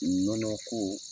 Nɔnɔko